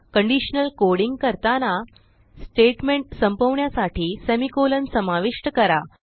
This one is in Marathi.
कंडिशनल कोडिंग करताना स्टेटमेंट संपवण्यासाठी सेमिकोलॉन समाविष्ट करा